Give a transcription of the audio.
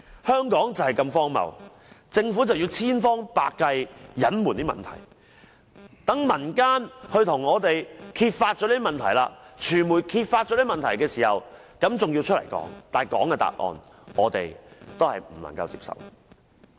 香港就是這麼荒謬，政府千方百計隱藏問題，待民間或傳媒把問題揭發出來，政府才作出回應，而政府的回應卻是不能接受的。